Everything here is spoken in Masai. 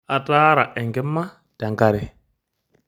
Ataara enkima te nkare.